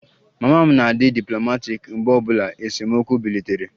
Mama m na-adi diplomaatic mgbe obula esemokwu bilitere